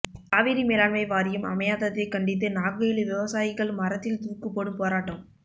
காவிரி மேலாண்மை வாரியம் அமையாததைக் கண்டித்து நாகையில் விவசாயிகள் மரத்தில் தூக்குப் போடும் போராட்டம்